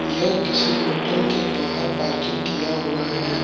यह किसी होटल के बाहर पार्किंग किया हुआ है।